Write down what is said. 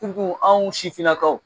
anw sifininakaw